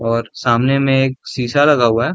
और सामने में एक शीशा लगा हुआ है।